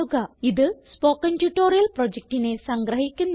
ഇത് spoken tutorial പ്രൊജക്റ്റിനെ സംഗ്രഹിക്കുന്നു